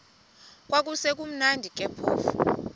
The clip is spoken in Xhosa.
kwakusekumnandi ke phofu